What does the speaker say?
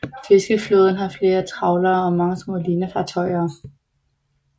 Fiskeflåden har flere trawlere og mange små linefartøjer